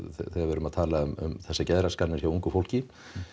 þegar við erum að tala um þessar geðraskanir hjá ungu fólki